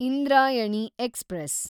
Indrayani express